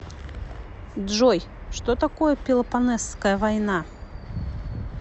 джой что такое пелопоннесская война